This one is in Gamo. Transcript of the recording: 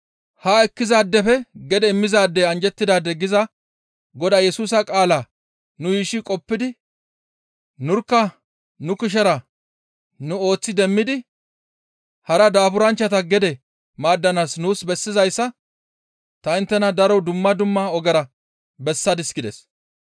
‹Haa ekkizaadefe gede immizaadey anjjettidaade› giza Godaa Yesusa qaalaa nu yuushshi qoppidi nurkka nu kushera nu ooththi demmidi hara daaburanchchata gede maaddanaas nuus bessizayssa ta inttena daro dumma dumma ogera bessadis» gides.